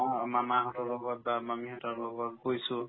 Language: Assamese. যাওঁ মামাহঁতৰ লগত বা মামীহঁতৰ লগত গৈছো